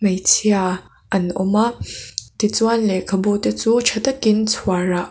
hmeichhia an awma ti chuan lehkhabu te chu tha takin chhuarah--